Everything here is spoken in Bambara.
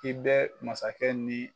I bɛ masakɛ ni